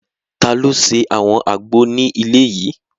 Taló ṣe àwọn àgbo ní ilé yìí?